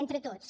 entre tots